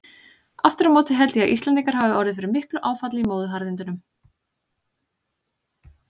Aftur á móti held ég að Íslendingar hafi orðið fyrir miklu áfalli í móðuharðindunum.